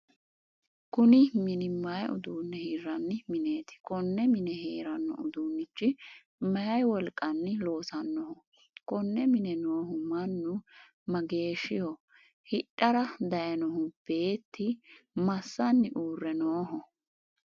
Kunni minu mayi uduune hiranni mineeti? Konne mine heerano uduunichi mayi wolqanni loosanoho? Konne mine noohu mannu mageeshiho? Hidhara dayinohu beeti masanni uure Nooho?